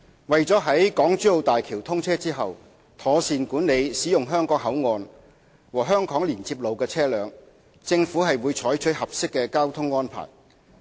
為了在港珠澳大橋通車後，妥善管理使用香港口岸和香港連接路的車輛，政府會採取合適的交通安排。